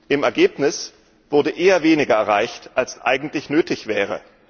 Im Ergebnis wurde eher weniger erreicht, als eigentlich nötig wäre.